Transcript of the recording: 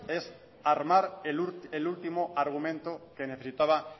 es armar el último argumento que necesitaba